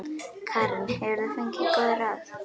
Karen: Hefur þú fengið góð ráð?